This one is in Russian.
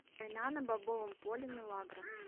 война на бобовом поле милагро